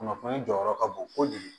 Kunnafoni jɔyɔrɔ ka bon kojugu